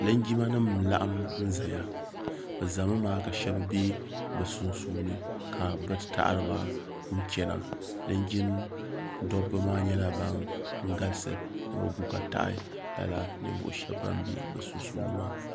Linjima nima n laɣim n zaya bɛ zami maa ka sheba be bɛ sunsuuni ka bɛ taɣariba n chena linjin'dabba maa nyɛla ban galisi ni bɛ gu ka taɣi lala ninvuɣu sheba ban be bɛ sunsuuni maa.